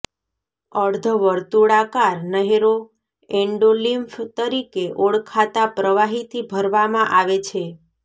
અર્ધવર્તુળાકાર નહેરો એંડોલિમ્ફ તરીકે ઓળખાતા પ્રવાહીથી ભરવામાં આવે છે